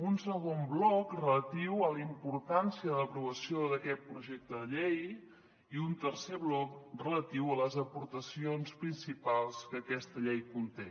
un segon bloc relatiu a la importància de l’aprovació d’aquest projecte de llei i un tercer bloc relatiu a les aportacions principals que aquesta llei conté